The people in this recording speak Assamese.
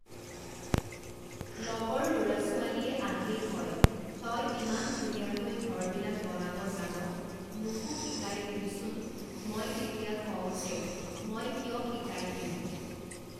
লগৰ ল'ৰা ছোৱালীয়ে আহিয়ে কয় তই ইমান ধুনীয়াকৈ ঘৰবিলাক বনাব জান মোকো শিকাই দিবিচোন মই তেতিয়া কওঁ যে মই কিয় শিকাই দিম